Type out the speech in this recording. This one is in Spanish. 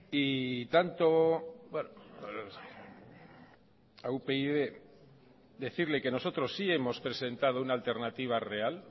y tanto a upyd decirle que nosotros sí hemos presentado una alternativa real